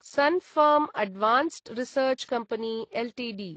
सुन् pharma advanced research company Ltd